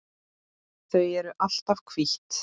Þau eru alltaf hvít.